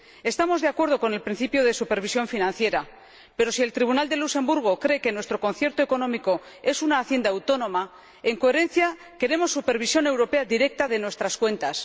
Estamos de acuerdo con el principio de supervisión financiera, pero si el Tribunal de Luxemburgo cree que nuestro concierto económico es una Hacienda autónoma, en coherencia queremos una supervisión europea directa de nuestras cuentas.